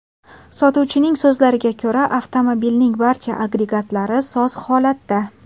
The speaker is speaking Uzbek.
Sotuvchining so‘zlariga ko‘ra, avtomobilning barcha agregatlari soz holatda.